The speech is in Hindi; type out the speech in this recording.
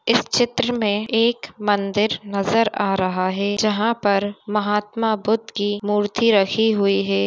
इस चित्र में एक मंदिर नजर आ रहा है जहां पर महात्मा बुद्ध की मूर्ति रखी हुई है।